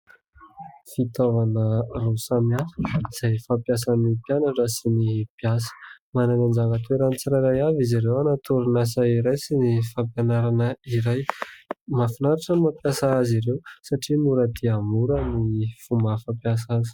Fitaovana roa samihafa izay fampiasan'ny mpianatra sy ny mpiasa. Manana ny anjara toerany tsirairay avy izy ireo ao anaty orinasa iray sy ny fampianarana iray. Mahafinaritra ny mampiasa azy ireo satria mora dia mora ny fomba fampiasa azy.